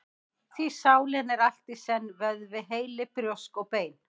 Því sálin er allt í senn: vöðvi, heili, brjósk og bein.